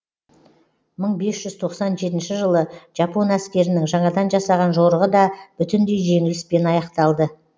мың бес жүз тоқсан жетінші жылы жапон әскерінің жаңадан жасаған жорығы да бүтіндей жеңіліспен аяқталды